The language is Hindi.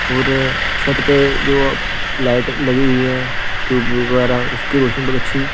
और छत पे जो लाइट लगी हुई है ट्यूब वगैरह उसकी रोशन बहुत अच्छी।